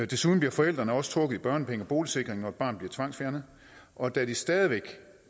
desuden bliver forældrene også trukket i børnepenge og boligsikring når et barn bliver tvangsfjernet og da de stadig væk